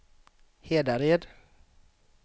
Hedared